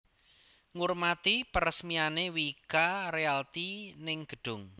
Ngurmati peresmiane Wika Realty ning gedhung